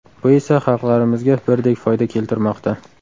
Bu esa xalqlarimizga birdek foyda keltirmoqda.